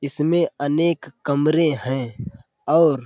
इसमें अनेक कमरे हैं और --